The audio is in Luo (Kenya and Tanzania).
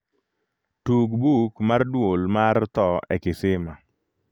tug buk mar duol mar tho e kisima